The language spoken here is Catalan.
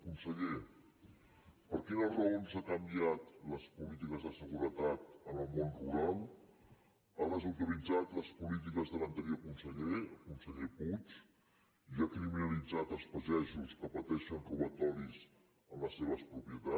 conseller per quines raons ha canviat les polítiques de seguretat en el món rural ha desautoritzat les polítiques de l’anterior conseller el conseller puig i ha criminalitzat els pagesos que pateixen robatoris en les seves propietats